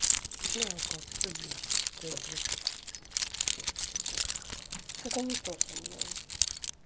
не знаю как все бесит что-то я блять что-то не то со мной